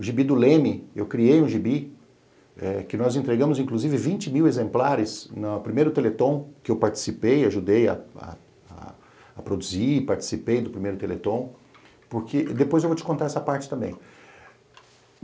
o gibi do Leme, eu criei um gibi, que nós entregamos inclusive 20 mil exemplares no primeiro Teleton, que eu participei, ajudei a a produzir, participei do primeiro Teleton, porque... depois eu vou te contar essa parte também.